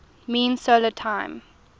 mean solar time